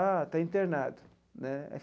Ah, está internado né.